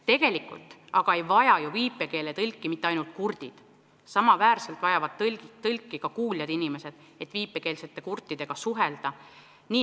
Tegelikult ei vaja aga viipekeeletõlke mitte ainult kurdid, neid vajavad ka kuuljad inimesed, et viipekeelsete kurtidega suhelda.